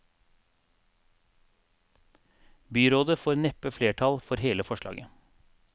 Byrådet får neppe flertall for hele forslaget.